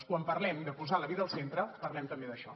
quan parlem de posar la vida al centre parlem també d’això